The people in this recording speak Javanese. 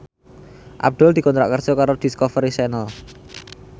Abdul dikontrak kerja karo Discovery Channel